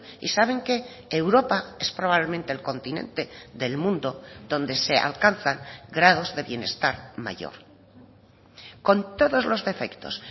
y saben qué europa es probablemente el continente del mundo donde se alcanzan grados de bienestar mayor con todos los defectos